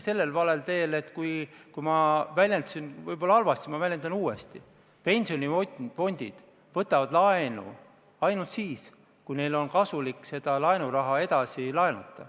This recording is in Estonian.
Urmas Kruuse, palun!